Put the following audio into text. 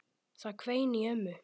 Það hvein í ömmu.